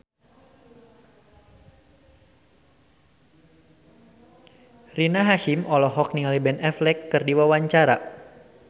Rina Hasyim olohok ningali Ben Affleck keur diwawancara